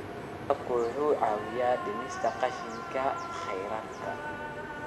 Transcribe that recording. Waraabku waxa uu caawiyaa dhimista qashinka kheyraadka.